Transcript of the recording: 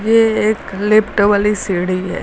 ये एक लिफ्ट वाली सीढ़ी है।